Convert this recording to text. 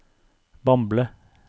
Bamble